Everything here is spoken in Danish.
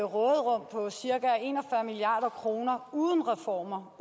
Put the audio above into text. råderum på cirka en og fyrre milliard kroner uden reformer